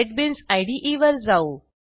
NetBeans इदे वर जाऊ